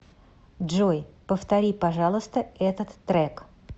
джой повтори пожалуйста этот трек